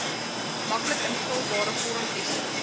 maklik invulbare vormtestament